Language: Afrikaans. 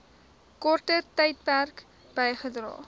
korter tydperk bygedra